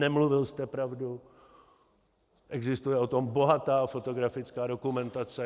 Nemluvil jste pravdu, existuje o tom bohatá fotografická dokumentace.